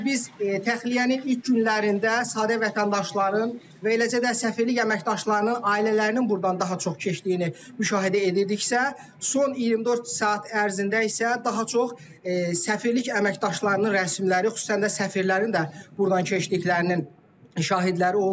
Əgər biz təxliyənin ilk günlərində sadə vətəndaşların və eləcə də səfirlik əməkdaşlarının ailələrinin burdan daha çox keçdiyini müşahidə edirdiksə, son 24 saat ərzində isə daha çox səfirlik əməkdaşlarının rəsmiləri, xüsusən də səfirlərin də burdan keçdiklərinin şahidləri olub.